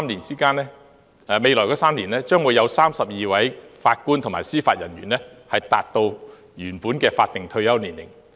在未來3年，將會有32名法官及司法人員達到原本的法定退休年齡。